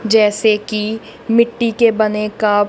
जैसे की मिट्टी के बने कप --